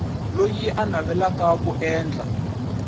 loyi a navelaka ku endla